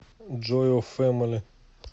джой оф фэмили